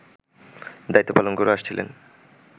দায়িত্ব পালন করে আসছিলেন